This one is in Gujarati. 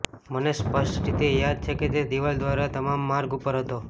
મને સ્પષ્ટ રીતે યાદ છે કે તે દિવાલ દ્વારા તમામ માર્ગ ઉપર હતો